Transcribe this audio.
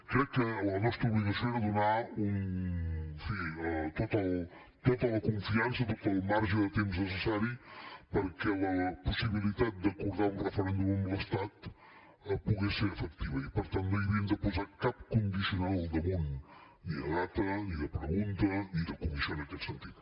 crec que la nostra obligació era donar en fi tota la confiança tot el marge de temps necessari perquè la possibilitat d’acordar un referèndum amb l’estat pogués ser efectiva i per tant no hi havíem de posar cap condicional al damunt ni de data ni de pregunta ni de comissió en aquest sentit